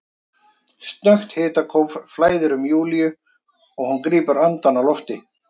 Snöggt hitakóf flæðir um Júlíu og hún grípur andann á lofti.